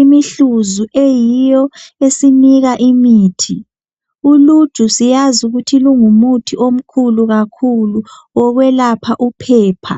imihluzu eyiyo esinika imithi. Uluju siyazi ukuthi lingumuthi omkhulu kakhulu wokwelapha uphepha.